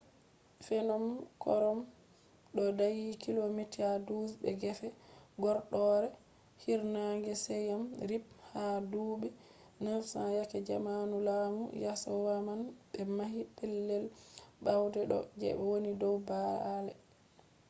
fnom krom ɗo dayi kilomita 12 be gefe horɗoore hiirnaange siyem rip. ha duuɓi 900 yake zamanu laamu yasowaman ɓe mahi pellel bauɗe ɗo je woni dow baalle